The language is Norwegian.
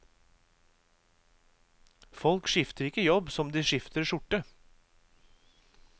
Folk skifter ikke jobb som de skifter skjorte.